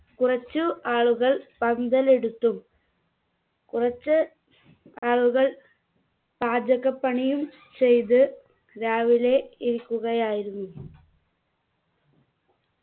കുറച്ചു ആളുകൾ പന്തലെടുത്തും കുറച്ച് ആളുകൾ പാചകപ്പണിയും ചെയ്ത് രാവിലെ ഇരിക്കുകയായിരുന്നു